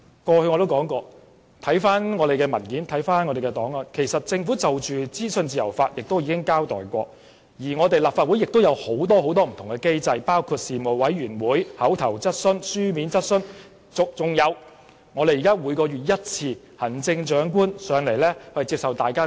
過去我也說過，很多文件及檔案顯示，政府之前已就資訊自由法交代過，立法會亦設有很多不同機制，包括事務委員會、口頭質詢、書面質詢，還有每月一次的行政長官質詢時間。